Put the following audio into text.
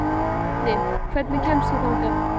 Jenni, hvernig kemst ég þangað?